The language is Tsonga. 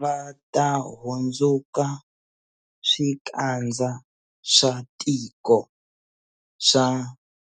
Va ta hundzuka swikandza swa tiko swa